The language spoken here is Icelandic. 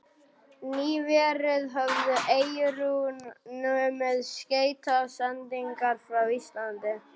Nýverið höfðu Eyrun numið skeytasendingar frá Íslandi.